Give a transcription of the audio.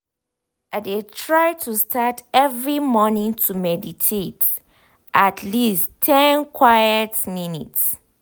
i de try to start every morning to meditate at least ten quite minutes.